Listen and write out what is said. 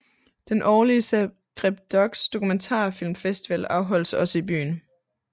Den årlige ZagrebDox dokumentarfilmfestival afholdes også i byen